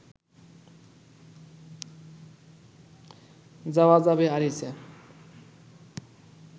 যাওয়া যাবে আরিচা